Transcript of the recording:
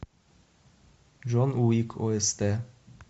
джон уик ост